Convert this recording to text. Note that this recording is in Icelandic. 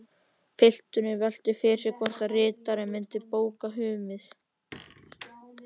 Pilturinn velti fyrir sér hvort ritari myndi bóka hummið.